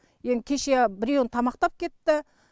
енді кеше біреуін тамақтап кетті